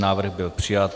Návrh byl přijat.